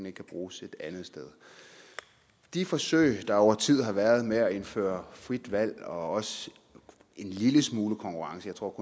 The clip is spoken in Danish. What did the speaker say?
ikke kan bruges et andet sted de forsøg der over tid har været med at indføre frit valg og også en lille smule konkurrence jeg tror